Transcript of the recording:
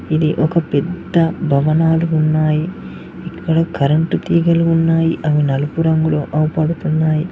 ఇది ఒక పెద్ద భవనాలు ఉన్నాయి ఇక్కడ కరెంటు తీగలు ఉన్నాయి అవి నలుపు రంగులో అవు పడుతున్నాయి.